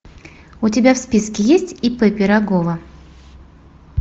у тебя в списке есть ип пирогова